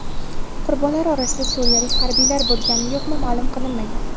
Qurbonlar orasida suriyalik harbiylar bo‘lganmi-yo‘qmi ma’lum qilinmagan.